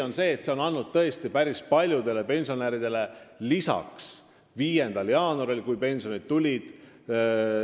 Ja see on tõesti päris paljude pensionäride sissetulekuid kasvatanud 5. jaanuari seisuga, kui pensionid laekusid.